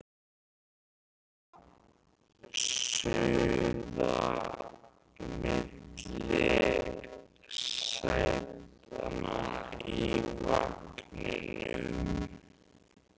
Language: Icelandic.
Heyri óskina suða milli sætanna í vagninum